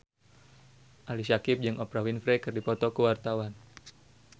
Ali Syakieb jeung Oprah Winfrey keur dipoto ku wartawan